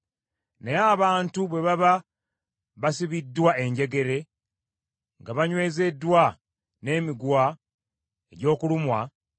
Naye abantu bwe baba basibiddwa enjegere nga banywezeddwa n’emiguwa egy’okulumwa